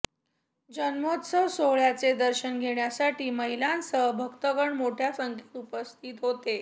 जन्मोत्सव सोहळय़ाचे दर्शन घेण्यासाठी महिलांसह भक्तगण मोठय़ा संख्येने उपस्थित होते